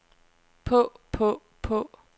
på på på